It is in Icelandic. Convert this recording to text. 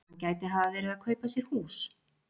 Hann gæti hafa verið að kaupa sér hús.